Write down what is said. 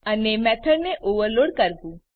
અને મેથડ ને ઓવરલોડ કરવું